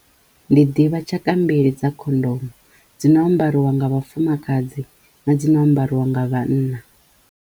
Ndi ḓivha tshaka mbili dza khondomo dzi no ambariwa nga vhafumakadzi na dzi no ambariwa nga vhanna.